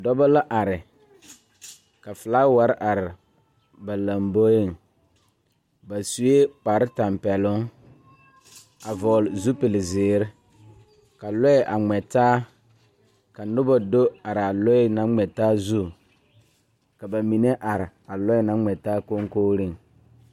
Dɔbɔ la are la flaawarre are ba lamboeŋ ba suee kparetapɛloŋ a vɔgle zipilzeere ka lɔɛ a ngmɛ taa ka nobɔ do araa lɔɛ naŋ ngmɛ taa zu ka ba mine are a lɔɛ naŋ ngmɛ taa koŋkogreŋ.